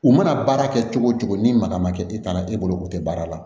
U mana baara kɛ cogo o cogo ni maga ma kɛ e taara e bolo o tɛ baara la